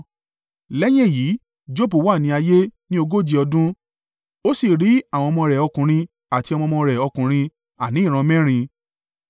Lẹ́yìn èyí Jobu wà ní ayé ní ogóje ọdún, ó sì rí àwọn ọmọ rẹ̀ ọkùnrin àti ọmọ ọmọ rẹ̀ ọkùnrin, àní ìran mẹ́rin.